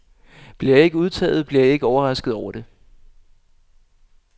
Bliver jeg ikke udtaget, bliver jeg ikke overrasket over det.